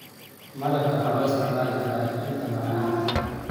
Malabka waxaa loo isticmaali karaa il tamar ahaan.